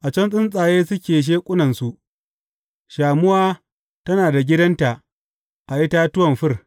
A can tsuntsaye suke sheƙunnansu; shamuwa tana da gidanta a itatuwan fir.